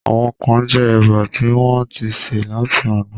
Àwọn kán jẹ Ẹ̀bà tí wọ́n ń ti sè láti àná